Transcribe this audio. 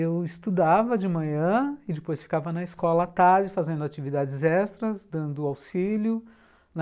Eu estudava de manhã e depois ficava na escola à tarde, fazendo atividades extras, dando auxílio.